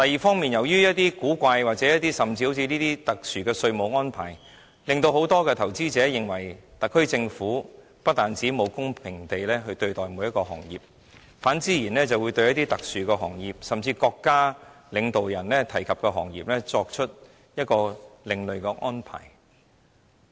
此外，由於一些古怪、甚至好像這些特殊的稅務安排，令很多投資者認為特區政府不但沒有公平地對待每一個行業，更對一些特殊行業，對國家領導人提及的行業作出另類安排。